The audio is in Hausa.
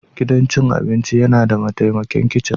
Gidan cin abinci yana da mataimakan kicin.